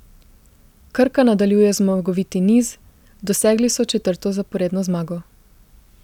Krka nadaljuje zmagoviti niz, dosegli so četrto zaporedno zmago.